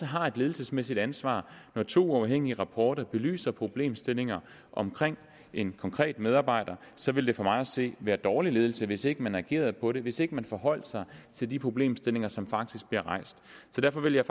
har et ledelsesmæssigt ansvar når to uafhængige rapporter belyser problemstillinger om en konkret medarbejder så vil det for mig at se være dårlig ledelse hvis ikke man agerede på det og hvis ikke man forholdt sig til de problemstillinger som faktisk blev rejst så derfor vil jeg